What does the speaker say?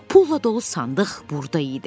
Pulla dolu sandıq burda idi.